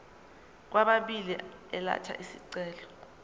kwababili elatha isicelo